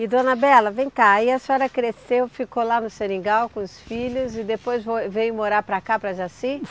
E dona Bela, vem cá, aí a senhora cresceu, ficou lá no seringal com os filhos e depois foi veio morar para cá, para Jaci?